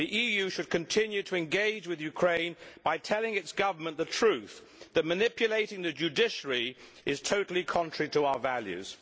The EU should continue to engage with Ukraine by telling its Government the truth that manipulating the judiciary is totally contrary to our values.